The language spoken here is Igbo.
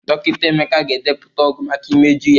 Dọkịta Emeka ga-edepụta ọgwụ maka imeju ya